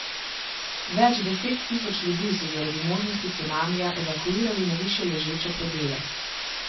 Več deset tisoč ljudi so zaradi možnosti cunamija evakuirali na višje ležeče predele.